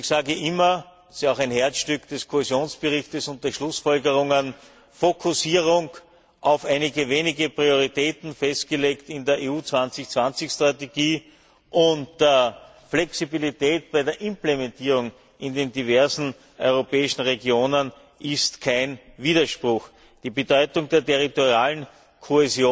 Ich sage immer es ist ja auch ein Herzstück des Kohäsionsberichts und der Schlussfolgerungen Fokussierung auf einige wenige Prioritäten, festgelegt in der EU 2020 Strategie, und die Flexibilität bei der Implementierung in den diversen europäischen Regionen sind kein Widerspruch. Die Bedeutung des territorialen Zusammenhalts